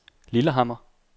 Lillehammer